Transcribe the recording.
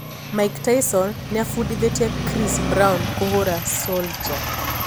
Mike Tyson niafundithetie Chris Brown kũhũra Soulja.